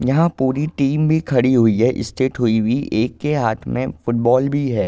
यहाँ पूरी टीम भी खड़ी हुई है स्ट्रैट हुई हुई एक के हाथ में फुटबॉल भी है।